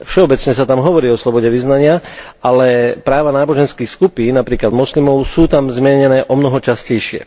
Všeobecne sa tam hovorí o slobode vyznania, ale práva náboženských skupín, napríklad moslimov, sú tam zmienené omnoho častejšie.